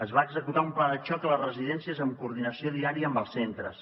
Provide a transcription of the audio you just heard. es va executar un pla de xoc a les residències amb coordinació diària amb els centres